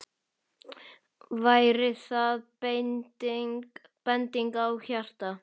Væri það bending á hjarta?